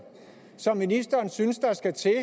som ministeren synes der skal til